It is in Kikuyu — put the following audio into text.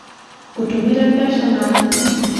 ngũtũmĩre mbeca na thimũ?